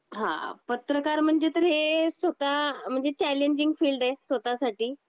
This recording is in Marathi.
हां! पत्रकार म्हणजे तर हे स्वत: म्हणजे चॅलेंजिंग फील्ड आहे स्वतःसाठी.